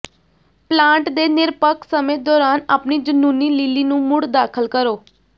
plant ਦੇ ਨਿਰਪੱਖ ਸਮੇਂ ਦੌਰਾਨ ਆਪਣੀ ਜਨੂੰਨੀ ਲਿਲੀ ਨੂੰ ਮੁੜ ਦਾਖਲ ਕਰੋ